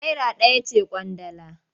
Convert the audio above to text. Naira ɗaya ce ƙwandala.